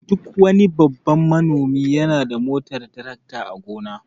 Duk wani babban manomi yana da motar tarakta a gona.